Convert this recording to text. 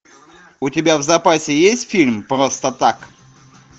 у тебя в запасе есть фильм просто так